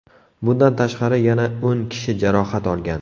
Bundan tashqari, yana o‘n kishi jarohat olgan.